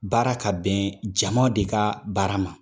Baara ka bɛn jama de ka baara ma.